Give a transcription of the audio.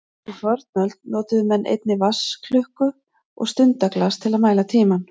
Í fornöld notuðu menn einnig vatnsklukku og stundaglas til að mæla tímann.